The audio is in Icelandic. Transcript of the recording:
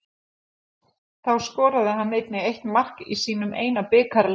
Þá skoraði hann einnig eitt mark í sínum eina bikarleik.